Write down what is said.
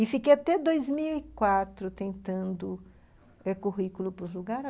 E fiquei até dois mil e quatro tentando o currículo para o lugar.